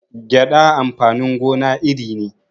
Gyaɗa amfanin gona iri ne